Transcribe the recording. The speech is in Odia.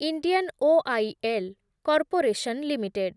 Indian Oil Corporation limited